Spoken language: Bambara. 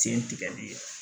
Sen tigɛli